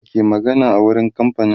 wa ke magana a wurin kamfain